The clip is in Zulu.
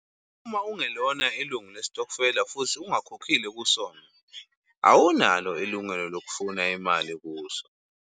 Uma ungelona ilungu lesitokofela futhi ungakhokhile kusona, awunalo ilungelo lokufuna imali kuso.